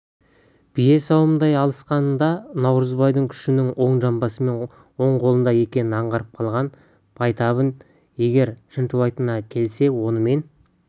бие сауымындай алысқанда наурызбайдың күшінің оң жамбасы мен оң қолында екенін аңғарып қалған байтабын егер шынтуайтқа келсе онымен